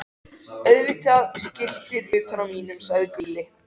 Auðvitað skiltið utan á mínum, sagði Gulli.